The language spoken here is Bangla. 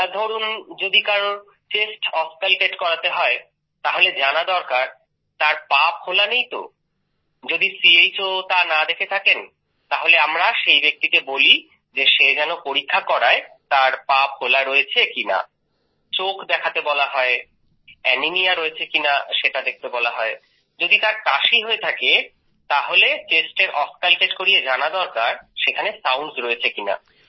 ধরুন যদি কারোর চেস্ট অস্কালটেট করাতে হয় তাহলে জানা দরকার তার পা ফোলা নেই তো যদি চো তা না দেখে থাকেন তাহলে আমরা সেই ব্যক্তিকে বলি যে সে যেন পরীক্ষা করায় তার ফোলা রয়েছে কি নেই চোখ দেখাতে বলা হয় এনিমিয়া রয়েছে কিনা যদি তার কাশি হয়ে থাকে তাহলে Chestএর অস্কালটেট করিয়ে জানা দরকার সেখানে সাউন্ডস রয়েছে কিনা